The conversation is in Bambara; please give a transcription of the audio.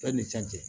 Bɛɛ ni can cɛ